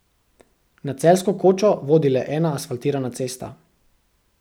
Na Celjsko kočo vodi le ena asfaltirana cesta.